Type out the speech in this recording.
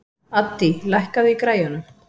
Addý, lækkaðu í græjunum.